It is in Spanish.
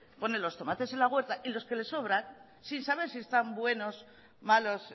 pone los tomates en la huerta y los que le sobran sin saber si están buenos malos